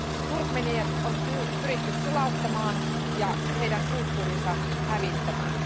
Turkmeenit on pyritty sulauttamaan ja heidän kulttuurinsa hävittämään.